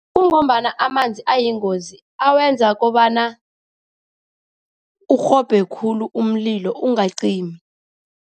Kungombana amanzi ayingozi, awenza kobana urhobhe khulu umlilo ungacimi.